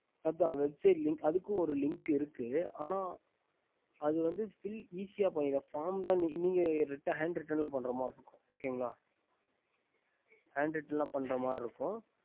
அதுக்கு link ஒரு இருக்கு அதுக்கு filll easy வந்து பண்ணிடலாம் faom hand ridan பண்டமாரி இருக்கும்